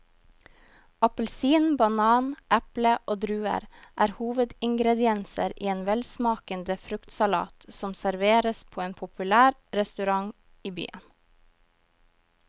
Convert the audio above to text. Appelsin, banan, eple og druer er hovedingredienser i en velsmakende fruktsalat som serveres på en populær restaurant i byen.